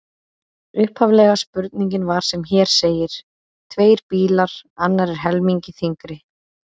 Upphaflega spurningin var sem hér segir: Tveir bílar, annar er helmingi þyngri.